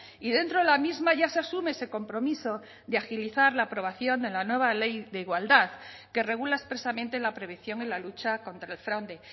y dentro de la misma ya se asume ese compromiso de agilizar la aprobación de la nueva ley de igualdad que regula expresamente la prevención en la lucha contra el fraude